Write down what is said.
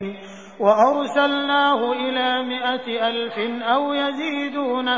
وَأَرْسَلْنَاهُ إِلَىٰ مِائَةِ أَلْفٍ أَوْ يَزِيدُونَ